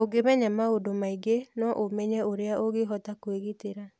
Ũngĩmenya maũndũ maingĩ, no ũmenye ũrĩa ũngĩhota kwĩgitĩra.